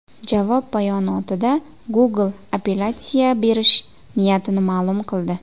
Javob bayonotida Google appelyatsiya berish niyatini ma’lum qildi.